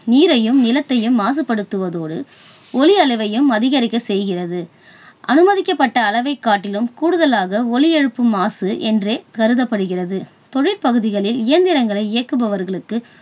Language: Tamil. நீரையும் நிலத்தையும் மாசுபடுத்துவதோடு ஒலி அளவையும் அதிகரிக்க செய்கிறது அனுமதிக்கப்பட்ட அளவைக் காட்டிலும் கூடுதலாக ஒலியெழுப்பும் மாசு என்றே கருதப்படுகிறது. தொழில் பகுதிகளில் இயந்திரங்களை இயக்குபவர்களுக்கு